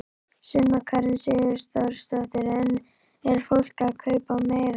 Sunna Karen Sigurþórsdóttir: En er fólk að kaupa meira?